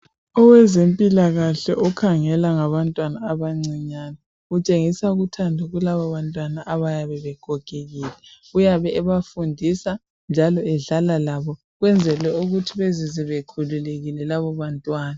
Owezempilakahle okhangela ngabantwana abancinyane utshengisa uthando kulabo bantwana abayabe begogekile uyabe ebafundisa njalo edlala labo ukwenzela ukuthi bezizwe bekhululekile labo bantwana